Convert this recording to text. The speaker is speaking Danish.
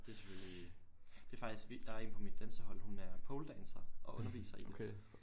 Det selvfølgelig det faktisk vildt der er en på mit dansehold hun er poledancer og underviser i det